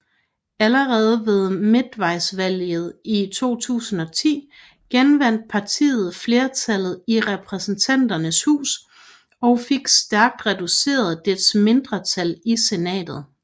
Allerede ved midtvejsvalget i 2010 genvandt partiet flertallet i Repræsentanternes Hus og fik stærkt reduceret dets mindretal i Senatet